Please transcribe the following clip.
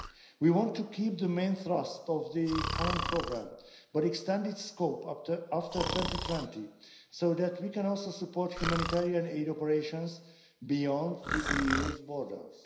We want to keep the main thrust of the current programme, but extend its scope after 2020 so that we can also support humanitarian aid operations beyond the EU's borders.